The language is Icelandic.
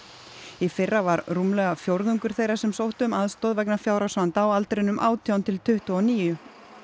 í fyrra var rúmlega fjórðungur þeirra sem sóttu um aðstoð vegna fjárhagsvanda á aldrinum átján til tuttugu og níu